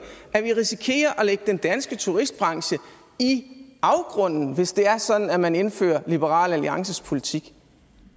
at vi risikerer at lægge den danske turistbranche i afgrunden hvis det er sådan at man indfører liberal alliances politik